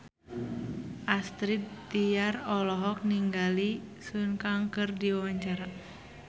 Astrid Tiar olohok ningali Sun Kang keur diwawancara